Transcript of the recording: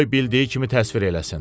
Qoy bildiyi kimi təsvir eləsin.